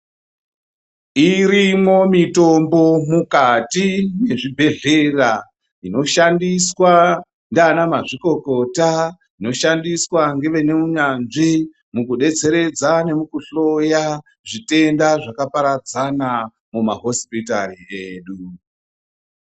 Irimwo mitombo mukati mwezvibhehlera inoshandiswa nanamazvikokota ,inoshandiswa ngevaneunyanzvi mukudetseredza nemukuhloya zvitenda zvakaparadzana mumahosipitari edu.